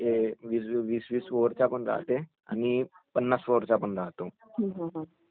साधाकं......म्हणजे सध्या जे सुरू आहे ते पण म्हणजे एकदिवसीय खेळ सुरु आहे.